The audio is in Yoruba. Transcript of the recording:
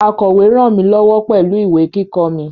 Akọ̀we ràn mí lọ́wọ́ pẹ̀lú ìwé kíkọ mi